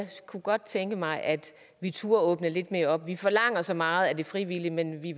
kunne godt tænke mig at vi turde åbne lidt mere op vi forlanger så meget af de frivillige men vi